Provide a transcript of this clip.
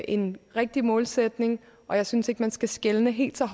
en rigtig målsætning og jeg synes ikke at man skal skelne helt så